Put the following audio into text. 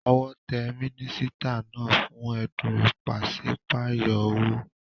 Owó te mínísítà náà fún édùn ìpasípayo owó